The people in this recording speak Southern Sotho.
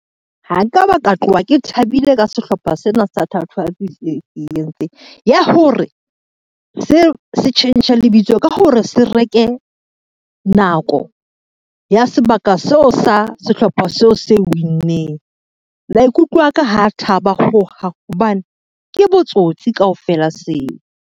Ha nka ba ka tlowa ke thabile ka sehlopha sena sa thatohatsi ya hore, se se tjhentjhe lebitso ka hore se reke nako ya sebaka seo sa sehlopha seo se win-neng. Maikutlo aka ha thaba hohang, hobane ke botsotsi kaofela seo.